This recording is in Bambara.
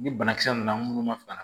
Ni banakisɛ nana minnu ma fara